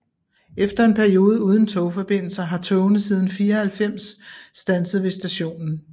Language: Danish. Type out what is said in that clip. Efter en periode uden togforbindelser har togene siden 1994 standset ved stationen